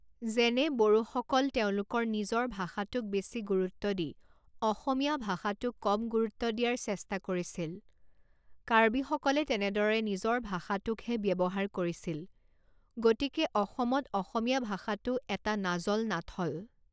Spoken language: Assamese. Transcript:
যেনে বড়োসকল তেওঁলোকৰ নিজৰ ভাষাটোক বেছি গুৰুত্ব দি অসমীয়া ভাষাটোক কম গুৰুত্ব দিয়াৰ চেষ্টা কৰিছিল কাৰ্বিসকলে তেনেদৰে নিজৰ ভাষাটোকহে ব্যৱহাৰ কৰিছিল গতিকে অসমত অসমীয়া ভাষাটো এটা নাজল নাথল